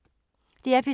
DR P3